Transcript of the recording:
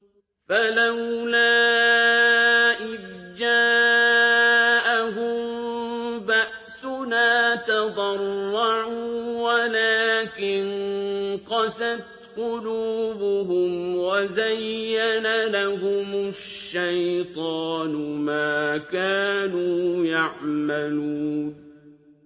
فَلَوْلَا إِذْ جَاءَهُم بَأْسُنَا تَضَرَّعُوا وَلَٰكِن قَسَتْ قُلُوبُهُمْ وَزَيَّنَ لَهُمُ الشَّيْطَانُ مَا كَانُوا يَعْمَلُونَ